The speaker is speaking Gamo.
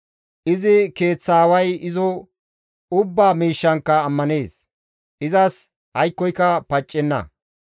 Izi keeththa aaway izo ubbaa miishshankka ammanees; izas aykkoyka paccenna.